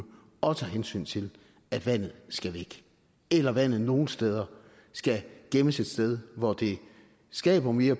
og tager hensyn til at vandet skal væk eller at vandet nogle steder skal gemmes et sted hvor det skaber mere